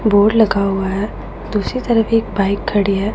Board लगा हुआ है। दूसरी तरफ एक बाइक खड़ी है।